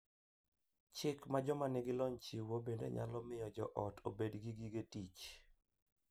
Chik ma joma nigi lony chiwo bende nyalo miyo joot obed gi gige tich .